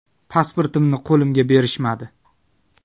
Pasportimni qo‘limga berishmadi.